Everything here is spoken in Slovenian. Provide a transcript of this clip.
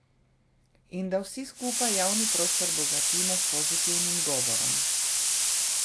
In da vsi skupaj javni prostor bogatimo s pozitivnim govorom.